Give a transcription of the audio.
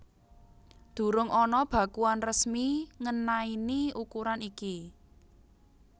Durung ana bakuan resmi ngenaini ukuran iki